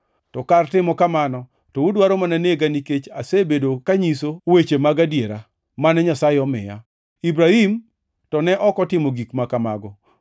to kar timo kamano to udwaro mana nega nikech asebedo kanyiso weche mag adiera mane Nyasaye omiya. Ibrahim to ne ok otimo gik ma kamago.